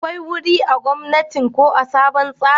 akwai wuri a gomnatin ko sabon tsarin?